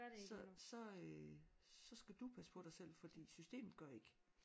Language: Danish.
Så så øh så skal du passe på dig selv fordi systemet gør ikke